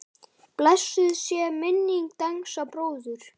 Blessuð sé minning Dengsa bróður.